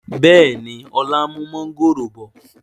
Bẹ́ẹ̀ni, ọlá ń mú mọ̀ngòrò bọ̀